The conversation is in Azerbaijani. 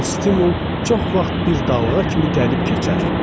Bu stimul çox vaxt bir dalğa kimi gəlib keçər.